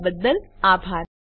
જોડાવા બદ્દલ આભાર